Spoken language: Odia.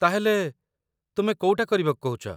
ତା'ହେଲେ, ତୁମେ କୋଉଟା କରିବାକୁ କହୁଚ ?